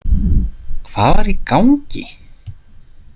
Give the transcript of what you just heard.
Hvað var í gangi?